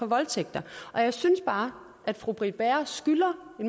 voldtægter jeg synes bare at fru britt bager skylder